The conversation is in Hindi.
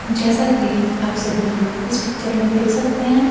जैसा कि आप सभी इस पिक्चर में देख सकते हैं।